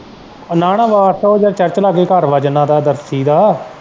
ਨਾ ਨਾ ਵਾਰਸ ਉਹ ਜੀਹਦਾ church ਲਾਗੇ ਘਰ ਵਾ ਜਿੰਨਾ ਦਾ ਦਾ।